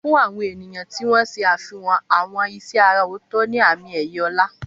Fún àwọn ènìyàn tí wọ́n ṣe àfihàn àwọn iṣẹ́ àrà ọ̀tọ̀ ní àmì-ẹ̀yẹ ọlá.